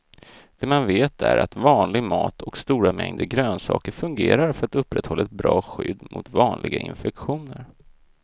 Det man vet är att vanlig mat och stora mängder grönsaker fungerar för att upprätthålla ett bra skydd mot vanliga infektioner.